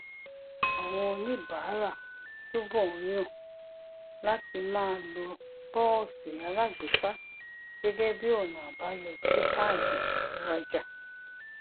àwọn oníbàárà túbò ń yàn láti máa lo póòsì alágbèéká gégé bí ònà àbáyọ sí káàdì ìrajà